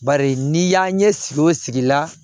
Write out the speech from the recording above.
Bari n'i y'a ɲɛ sigi o sigi la